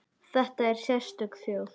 Þetta er sérstök þjóð.